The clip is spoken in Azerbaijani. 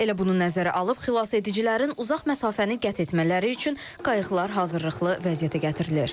Elə bunu nəzərə alıb xilasedicilərin uzaq məsafəni qət etmələri üçün qayıqlar hazırlıqlı vəziyyətə gətirilir.